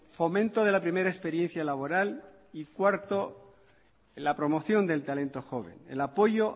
fomento de la primera experiencia laboral y cuarto la promoción del talento joven el apoyo